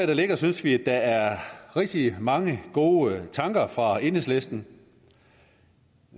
der ligger synes vi der er rigtig mange gode tanker fra enhedslisten